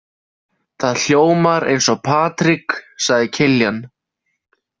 Það hljómar eins og Patrik, sagði Kiljan.